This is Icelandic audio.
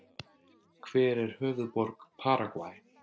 Hver er höfuðborg Paragvæ?